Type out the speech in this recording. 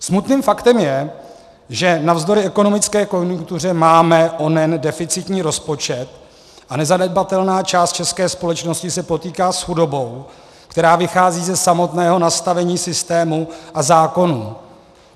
Smutným faktem je, že navzdory ekonomické konjunktuře máme onen deficitní rozpočet a nezanedbatelná část české společnosti se potýká s chudobou, která vychází ze samotného nastavení systému a zákonů.